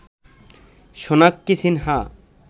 Sonakshi Sinha